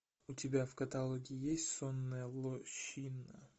у тебя в каталоге есть сонная лощина